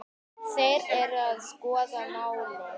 Þeir eru að skoða málið.